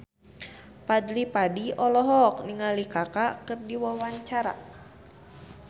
Fadly Padi olohok ningali Kaka keur diwawancara